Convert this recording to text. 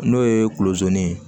N'o ye kulozoni ye